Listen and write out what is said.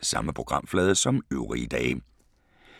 Samme programflade som øvrige dage